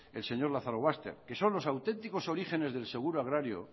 el señor lazarobaster que son los auténticos orígenes del seguro agrario